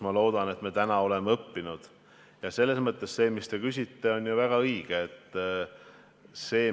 Ma loodan, et me oleme sellest õppinud, ja selles mõttes on väga õige selle kohta küsida.